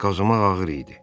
Qazımaq ağır idi.